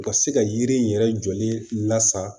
U ka se ka yiri yɛrɛ jɔlen lasa